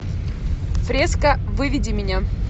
фреска выведи меня